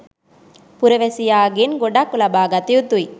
පුරවැසියාගෙන් ගොඩක් ලබාගත යුතුයි